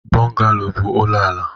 Bungalo bụ ụlọ ala.